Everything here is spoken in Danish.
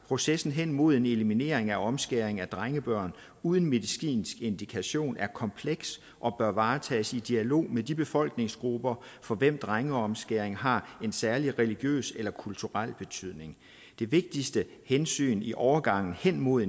processen hen imod en eliminering af omskæring af drengebørn uden medicinsk indikation er kompleks og bør varetages i dialog med de befolkningsgrupper for hvem drengeomskæring har en særlig religiøs eller kulturel betydning det vigtigste hensyn i overgangen hen imod